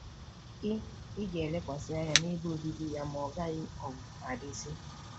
Ị Ị ga-elekwasị anya n’ebe obibi ya, ma ọ gaghị um adịzi.”